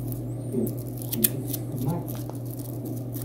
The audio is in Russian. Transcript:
сбер включить знаки